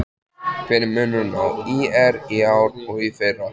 Hver er munurinn á ÍR í ár og í fyrra?